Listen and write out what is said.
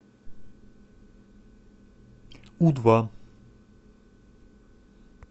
у два